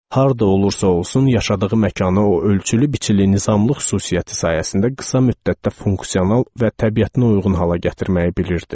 Harda olursa olsun yaşadığı məkanı o ölçülü biçili nizamlı xüsusiyyəti sayəsində qısa müddətdə funksional və təbiətinə uyğun hala gətirməyi bilirdi.